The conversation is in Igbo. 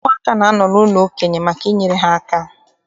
Ụmụaka na-anọ n'ụlọ ndị okenye maka inyere ha aka.